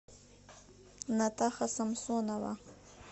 натаха самсонова